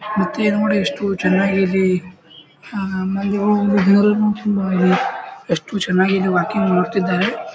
ಮತ್ತೆ ಏಯ್ ನೋಡಿ ಎಷ್ಟು ಚನ್ನಾಗಿದೆ ಆ ಮೇಲೆ ಎಷ್ಟು ಚನ್ನಾಗಿ ಇಲ್ಲಿ ವರ್ಕಿಂಗ್ ಮಾಡುತ್ತಿದ್ದಾರೆ .